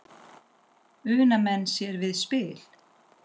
Una menn sér við spil.